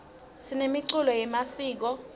sinemiculo yemasiko